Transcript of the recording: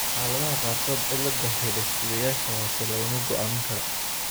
Xaaladaha qaarkood cilladda hidde-sideyaasha hoose lama go'aamin karo.